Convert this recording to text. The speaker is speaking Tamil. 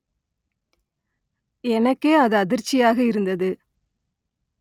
எனக்கே அது அதிர்ச்சியாக இருந்தது